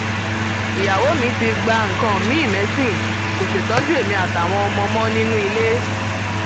ìyàwó mi ti gba nǹkan miin mẹsìn kò ṣètọjú èmi àtàwọn ọmọ mọ nínú ilé